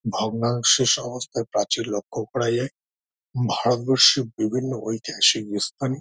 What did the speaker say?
ভগ্নাংশ প্রাচীর লক্ষ করা যায়। ভারতবর্ষের বিভিন্ন ইতিহাসিক ইথানে--